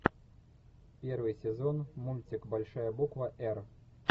первый сезон мультик большая буква р